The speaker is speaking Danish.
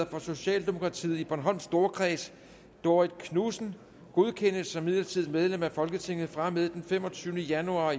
for socialdemokratiet i bornholms storkreds dorrit knudsen godkendes som midlertidigt medlem af folketinget fra og med den femogtyvende januar